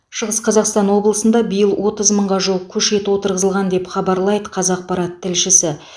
шығыс қазақстан облысында биыл отыз мыңға жуық көшет отырғызылған деп хабарлайды қазақпарат тілшісі